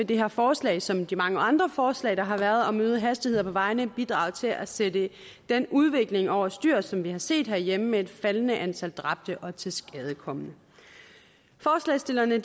det her forslag som de mange andre forslag der har været om øgede hastigheder på vejene bidrage til at sætte den udvikling over styr som vi har set herhjemme med et faldende antal dræbte og tilskadekomne forslagsstillerne